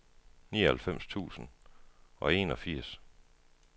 nioghalvfems tusind og enogfirs